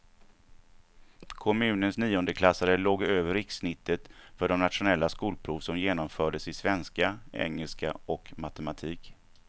Kommunens niondeklassare låg över rikssnittet för det nationella skolprov som genomfördes i svenska, engelska och matematik.